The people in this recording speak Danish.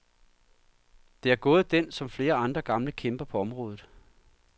Det er gået den, som flere andre gamle kæmper på området.